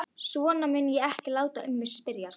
Svona mun ég ekki láta um mig spyrjast.